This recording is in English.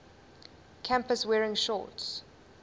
campus wearing shorts